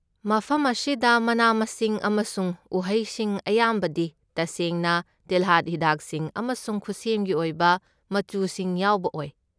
ꯃꯐꯝ ꯑꯁꯤꯗ ꯃꯅꯥ ꯃꯁꯤꯡ ꯑꯃꯁꯨꯡ ꯎꯍꯩꯁꯤꯡ ꯑꯌꯥꯝꯕꯗꯤ ꯇꯁꯦꯡꯅ ꯇꯤꯜꯍꯥꯠ ꯍꯤꯗꯥꯛꯁꯤꯡ ꯑꯃꯁꯨꯡ ꯈꯨꯠꯁꯦꯝꯒꯤ ꯑꯣꯏꯕ ꯃꯆꯨꯁꯤꯡ ꯌꯥꯎꯕ ꯑꯣꯏ꯫